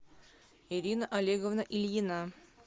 ирина олеговна ильина